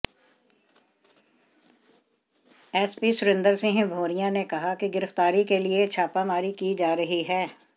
SP Surendra Singh Bhauriya ने कहा कि गिरफ्तारी के लिए छापामारी की जा रही है